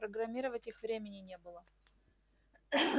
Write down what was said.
программировать их времени не было